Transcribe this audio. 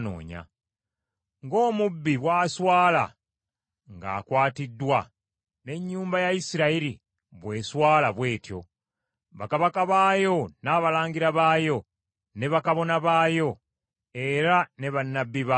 Ng’omubbi bw’aswala ng’akwatiddwa, n’ennyumba ya Isirayiri bw’eswala bw’etyo, bakabaka baayo, n’abalangira baayo, ne bakabona baayo, era ne bannabbi baayo,